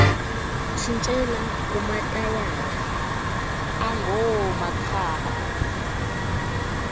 tshintshela kumatayala angoomakha